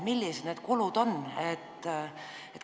Millised need kulud on?